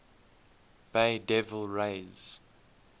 bay devil rays